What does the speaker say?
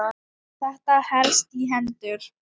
Þetta helst í hendur.